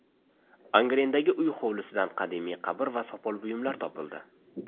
Angrendagi uy hovlisidan qadimiy qabr va sopol buyumlar topildi.